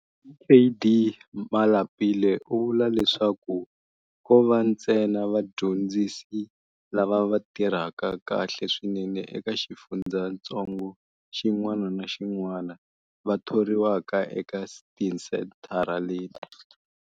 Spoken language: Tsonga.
Dkd Malapile u vula leswaku ko va ntsena vadyondzisi lava va tirhaka kahle swinene eka xifundzatsongo xin'wana na xin'wana va thoriwaka eka tisenthara leti.